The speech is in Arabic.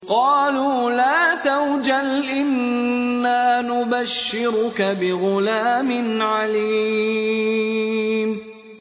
قَالُوا لَا تَوْجَلْ إِنَّا نُبَشِّرُكَ بِغُلَامٍ عَلِيمٍ